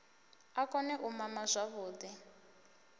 a kone u mama zwavhuḓi